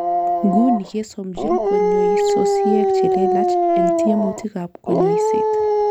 Nguni kesomonjin konyoisosiek chelelach en tiemutikab konyoiset.